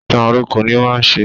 Ìtàn àìròkọ ní ó má ń ṣe